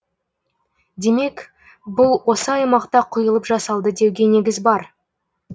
демек бұл осы аймақта құйылып жасалды деуге негіз бар